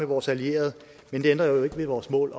vores allierede men det ændrer jo ikke ved vores mål